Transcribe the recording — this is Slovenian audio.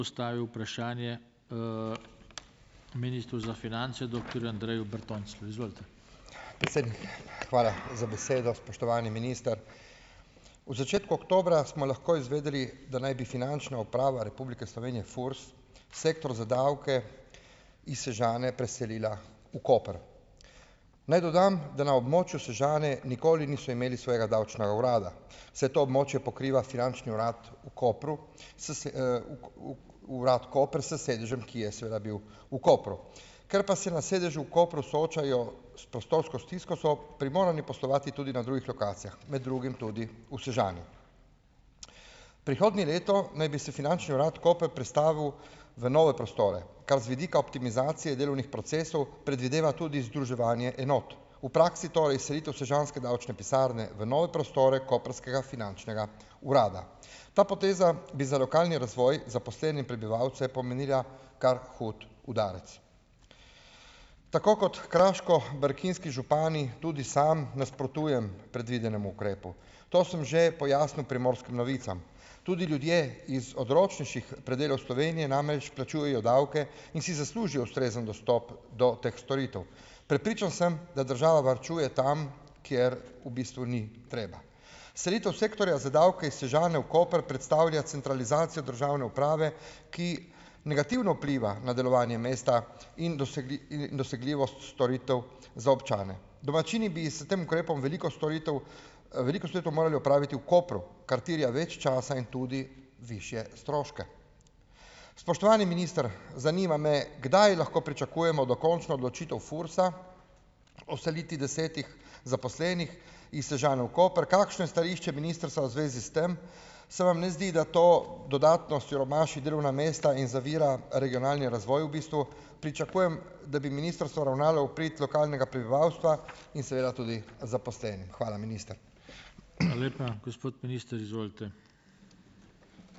Predsednik, hvala za besedo. Spoštovani minister. V začetku oktobra smo lahko izvedeli, da naj bi Finančna uprava Republike Slovenije, Furs, Sektor za davke iz Sežane preselila v Koper. Naj dodam, da na območju Sežane nikoli niso imeli svojega davčnega urada, saj to območje pokriva finančni urad v Kopru, s v v urad koper s sedežem, ki je seveda bil v Kopru. Ker pa se na sedežu v Kopru soočajo s prostorsko stisko, so primorani poslovati tudi na drugih lokacijah, med drugim tudi v Sežani. Prihodnje leto naj bi se finančni urad Koper prestavil v nove prostore, kar z vidika optimizacije delovnih procesov predvideva tudi združevanje enot. V praksi torej selitev sežanske davčne pisarne v nove prostore koprskega finančnega urada. Ta poteza bi za lokalni razvoj zaposlene in prebivalce pomenila kar hud udarec. Tako kot kraško-brkinski župani tudi sam nasprotujem predvidenemu ukrepu. To sem že pojasnil Primorskim novicam. Tudi ljudje iz odročnejših predelov Slovenije namreč plačujejo davke in si zaslužijo ustrezen dostop do teh storitev. Prepričan sem, da država varčuje tam, kjer v bistvu ni treba. Selitev sektorja za davke iz Sežane v Koper predstavlja centralizacijo državne uprave, ki negativno vpliva na delovanje mesta in in dosegljivost storitev za občane. Domačini bi s tem ukrepom veliko storitev, veliko storitev morali opraviti v Kopru, kar terja več časa in tudi višje stroške. Spoštovani minister, zanima me, kdaj lahko pričakujemo dokončno odločitev FURS-a o selitvi desetih zaposlenih iz Sežane v Koper? Kakšno je stališče ministrstva v zvezi s tem? Se vam ne zdi, da to dodatno siromaši delovna mesta in zavira regionalni razvoj v bistvu? Pričakujem, da bi ministrstvo ravnalo v prid lokalnega prebivalstva in seveda tudi zaposlenim. Hvala, minister.